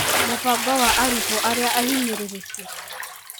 Mũbango wa arutwo arĩa ahinyĩrĩrĩku.